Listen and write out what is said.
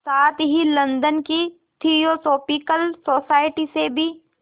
साथ ही लंदन की थियोसॉफिकल सोसाइटी से भी